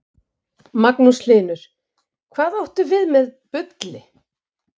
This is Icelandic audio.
Magnús Hlynur: Hvað áttu við með bulli?